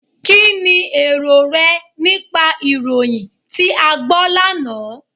Kínni èrò rẹ nípa ìròyìn tí a gbọ́ lánàá?